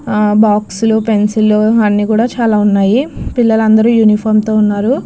ఆ బాక్సు లు పెన్సిల్ లు అన్నీ కూడా చాలా ఉన్నాయి పిల్లలు అందరూ యూనిఫామ్ తో ఉన్నారు.